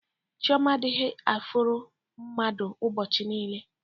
Chioma adighi eforo mmadv ubochi niile.